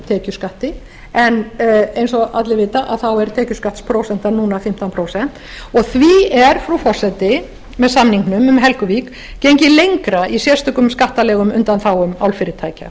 tekjuskatti en eins og allir vita er tekjuskattsprósentan núna fimmtán prósent og því er frú forseti með samningnum með helguvík gengið lengra í sérstökum skattalegum undanþágum álfyrirtækja